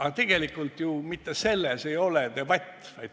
Aga tegelikult ju mitte selles ei ole debati mõte.